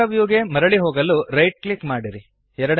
camera ವ್ಯೂಗೆ ಮರಳಿ ಹೋಗಲು ರೈಟ್ ಕ್ಲಿಕ್ ಮಾಡಿರಿ